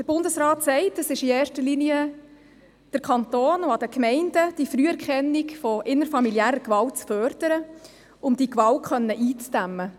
Der Bundesrat sagt, es sei in erster Linie am Kanton und an den Gemeinden, die Früherkennung innerfamiliärer Gewalt zu fördern, um diese Gewalt einzudämmen.